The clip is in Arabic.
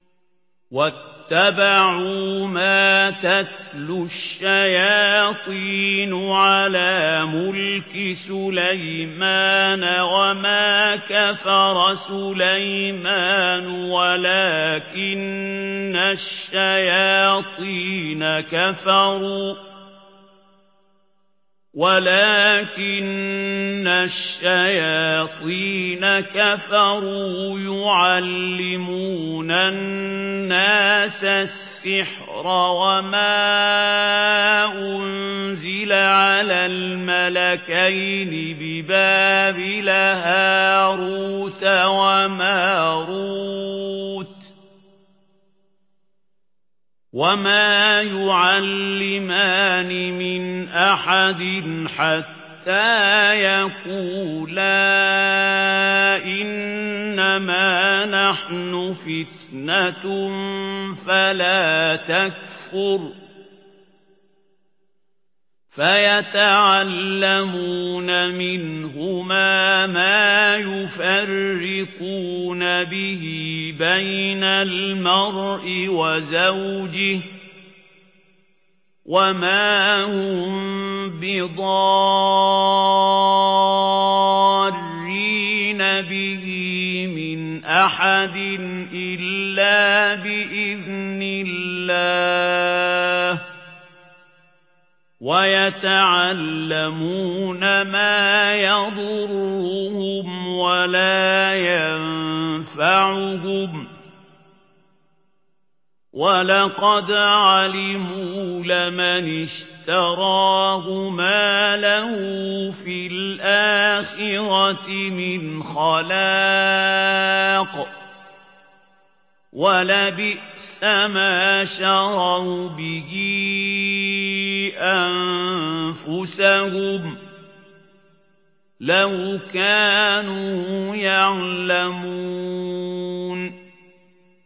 وَاتَّبَعُوا مَا تَتْلُو الشَّيَاطِينُ عَلَىٰ مُلْكِ سُلَيْمَانَ ۖ وَمَا كَفَرَ سُلَيْمَانُ وَلَٰكِنَّ الشَّيَاطِينَ كَفَرُوا يُعَلِّمُونَ النَّاسَ السِّحْرَ وَمَا أُنزِلَ عَلَى الْمَلَكَيْنِ بِبَابِلَ هَارُوتَ وَمَارُوتَ ۚ وَمَا يُعَلِّمَانِ مِنْ أَحَدٍ حَتَّىٰ يَقُولَا إِنَّمَا نَحْنُ فِتْنَةٌ فَلَا تَكْفُرْ ۖ فَيَتَعَلَّمُونَ مِنْهُمَا مَا يُفَرِّقُونَ بِهِ بَيْنَ الْمَرْءِ وَزَوْجِهِ ۚ وَمَا هُم بِضَارِّينَ بِهِ مِنْ أَحَدٍ إِلَّا بِإِذْنِ اللَّهِ ۚ وَيَتَعَلَّمُونَ مَا يَضُرُّهُمْ وَلَا يَنفَعُهُمْ ۚ وَلَقَدْ عَلِمُوا لَمَنِ اشْتَرَاهُ مَا لَهُ فِي الْآخِرَةِ مِنْ خَلَاقٍ ۚ وَلَبِئْسَ مَا شَرَوْا بِهِ أَنفُسَهُمْ ۚ لَوْ كَانُوا يَعْلَمُونَ